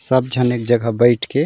सब झन एक जगह बैठ --